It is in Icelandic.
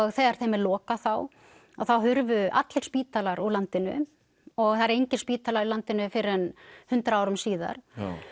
þegar þeim er lokað þá að þá þurfu allir spítalar úr landinu og það er enginn spítali í landinu fyrr en hundrað árum síðar